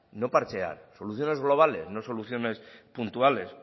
no parchear soluciones globales no soluciones puntuales